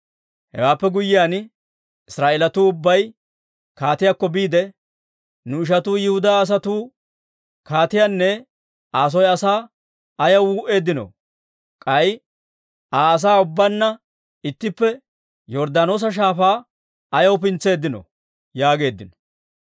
Hewaappe guyyiyaan, Israa'eelatuu ubbay kaatiyaakko biide, «Nu ishatuu Yihudaa asatuu kaatiyaanne Aa soo asaa ayaw wuu'eeddinoo? K'ay Aa asaa ubbaanna ittippe Yorddaanoosa Shaafaa ayaw pintseeddino?» yaageeddino.